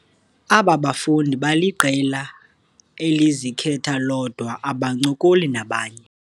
Aba bafundi baliqela elizikhetha lodwa abancokoli nabanye.